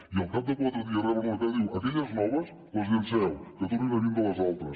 i al cap de quatre dies reben una carta i diu aquelles noves les llenceu que tornin a vindre les altres